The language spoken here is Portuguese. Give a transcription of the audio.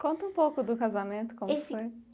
Conta um pouco do casamento, como esse foi?